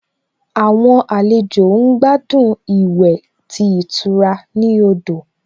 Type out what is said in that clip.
Àwọn àlejò ń gbádùn ìwẹ̀ tí ìtura ní odò